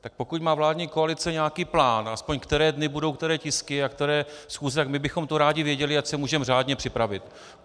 Tak pokud má vládní koalice nějaký plán, aspoň které dny budou které tisky a které schůze, tak my bychom to rádi věděli, ať se můžeme řádně připravit.